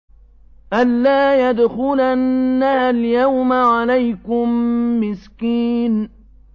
أَن لَّا يَدْخُلَنَّهَا الْيَوْمَ عَلَيْكُم مِّسْكِينٌ